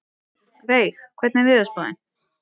Veig, hvernig er veðurspáin?